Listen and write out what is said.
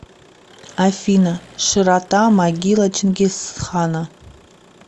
афина широта могила чингисхана